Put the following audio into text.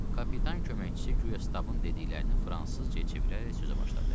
Kapitan köməkçisi guya Stabın dediklərini fransızcaya çevirərək sözə başladı.